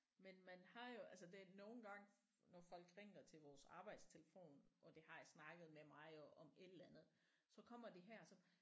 Men man har jo altså det nogle gange når folk ringer til vores arbejdstelefon og de har snakket med mig om et eller andet så kommer de her så